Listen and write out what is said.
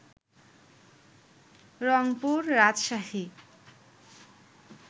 Rangpur, Rajshahi